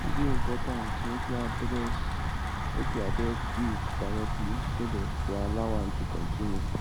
e dey important make we address make we address guilt directly instead of to allow am to continue